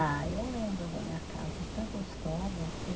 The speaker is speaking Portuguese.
Ah, eu lembro da minha casa, tão gostosa assim.